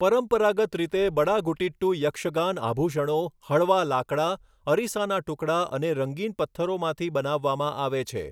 પરંપરાગત રીતે, બડાગુટિટ્ટુ યક્ષગાન આભૂષણો હળવા લાકડા, અરીસાના ટુકડા અને રંગીન પથ્થરોમાંથી બનાવવામાં આવે છે.